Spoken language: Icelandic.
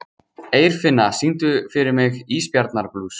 Eirfinna, syngdu fyrir mig „Ísbjarnarblús“.